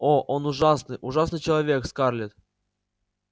о он ужасный ужасный человек скарлетт